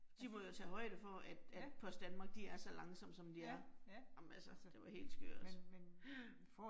De må jo tage højde for at at Post Danmark, de er så langsomme som de er. Ej men altså, det var helt skørt. Ja